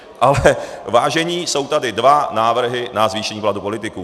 Ale vážení, jsou tady dva návrhy na zvýšení platů politiků.